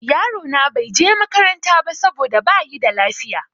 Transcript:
Yaro na bai je makaranta ba saboda bayi da lafiya.